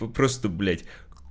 ну просто блять